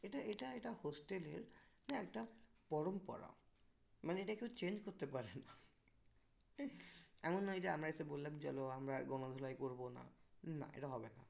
এটা এটা এটা hostel এর এটা একটা পরম্পরা মানে এটা কেউ change করতে পারে না এমন নয় যে আমরা এসে বললাম চলো আমরা গণধোলাই করবো না না এটা হবে না